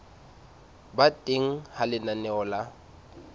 ba teng ha lenaneo la